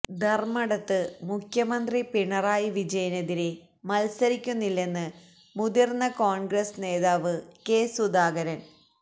ധര്മ്മടത്ത് മുഖ്യമന്ത്രി പിണറായി വിജയനെതിരെ മത്സരിക്കുന്നില്ലെന്ന് മുതിര്ന്ന കോണ്ഗ്രസ് നേതാവ് കെ സുധാകരന്